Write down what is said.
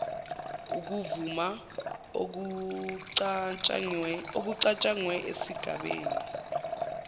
ukuvuma okucatshangwe esigabeni